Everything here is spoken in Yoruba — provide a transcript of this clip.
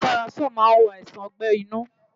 Omeprazole a máa wo àìsàn ọgbẹ́ inú.